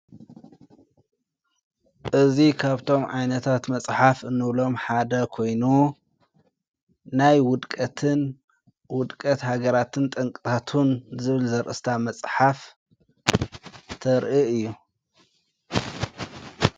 እዙ ኻብቶም ዓይነታት መጽሓፍ እኖብሎም ሓደ ኮይኑ ናይ ውድቀትን ውድቀት ሃገራትን ጠንቅታቱን ዘብን ዘርእስታ መጽሓፍ ተርኢ እዩ።